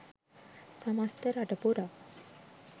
සමස්ත රට පුරා